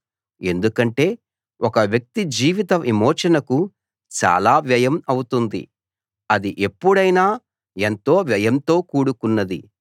ఎందుకంటే ఒక వ్యక్తి జీవిత విమోచనకు చాలా వ్యయం అవుతుంది అది ఎప్పుడైనా ఎంతో వ్యయంతో కూడుకున్నది